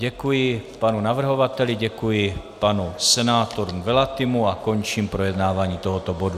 Děkuji panu navrhovateli, děkuji panu senátorovi Nwelatimu a končím projednávání tohoto bodu.